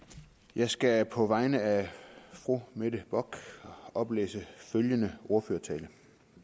jeg skal på vegne af fru mette bock oplæse følgende ordførertale